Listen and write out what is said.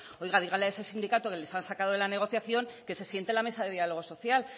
oiga dígale a ese sindicato que les ha sacado de la negociación que se siente en la mesa de diálogo social